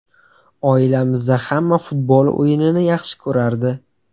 Oilamizda hamma futbol o‘yinini yaxshi ko‘rardi.